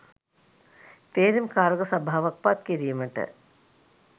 තේරීම් කාරක සභාවක් පත්කිරීමට